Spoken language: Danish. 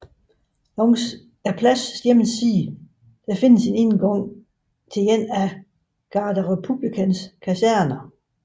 Langs pladsens ene side findes indgangen til en af Garde républicaines kaserner